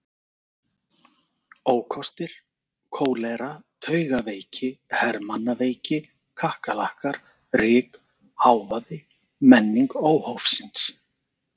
Ókostir: kólera, taugaveiki, hermannaveiki, kakkalakkar, ryk, hávaði, menning óhófsins.